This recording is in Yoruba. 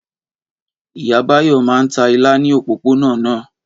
Ìyá Báyọ̀ máa ń ta ilá ní òpópónà náà.